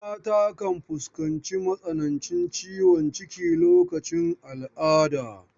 Mata kan fuskanci matsanancin ciwon ciki lokacin al'ada.